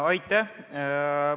Aitäh!